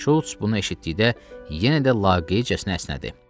Şults bunu eşitdikdə yenə də laqeydcəsinə əsnədi.